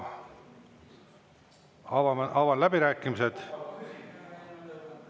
Avan läbirääkimised.